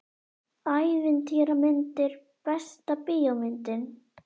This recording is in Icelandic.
Ævintýramyndir Besta bíómyndin?